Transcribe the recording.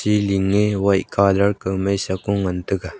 siling ye white colour komai sa kong ngantaga.